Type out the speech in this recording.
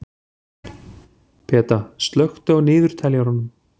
Peta, slökktu á niðurteljaranum.